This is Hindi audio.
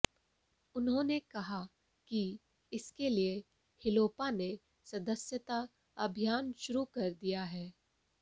उन्होंने कहा कि इसके लिए हिलोपा ने सदस्यता अभियान शुरू कर दिया है